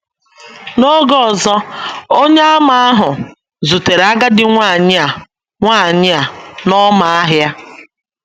N’oge ọzọ, Onyeàmà ahụ um zutere agadi nwanyị a nwanyị a n’ọmà ahịa.